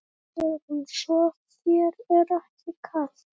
Hugrún: Svo þér er ekki kalt?